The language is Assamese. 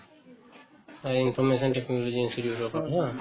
হয়, information technology institute ৰ ওপৰত